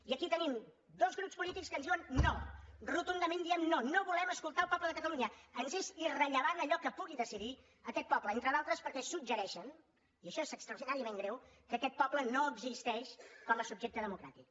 i aquí tenim dos grups polítics que ens diuen no rotundament diem no no volem escoltar el poble de catalunya ens és irrellevant allò que pugui decidir aquest poble entre d’altres perquè suggereixen i això és extraordinàriament greu que aquest poble no existeix com a subjecte democràtic